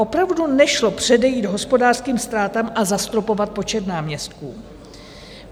Opravdu nešlo předejít hospodářským ztrátám a zastropovat počet náměstků?